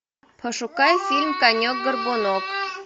пошукай фильм конек горбунок